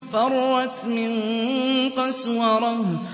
فَرَّتْ مِن قَسْوَرَةٍ